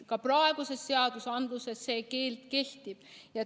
Ka praeguses seaduses see keeld kehtib.